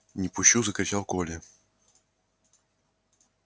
не пущу закричал коля